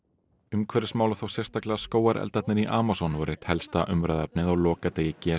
umhverfismál og þá sérstaklega skógareldarnir í Amazon voru eitt helsta umræðuefnið á lokadegi g